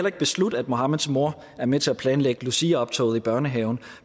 ikke beslutte at mohammeds mor er med til at planlægge luciaoptoget i børnehaven